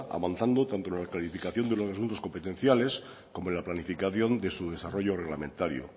avanzando tanto en la clarificación de los asuntos competenciales como en la planificación de su desarrollo reglamentario